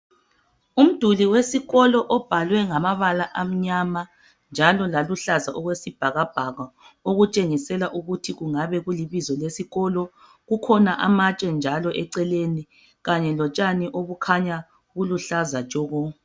Umduli wesikolo obhalwe ngamabala amnyama njalo laluhlaza okwesibhakabhaka okutshengisela ukuthi kungabe kulibizo lesikolo, kukhona amatshe njalo eceleni kanye lotshani obukhanya buluhlaza tshoko.